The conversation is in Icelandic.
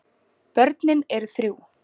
Börnin eru þrjú.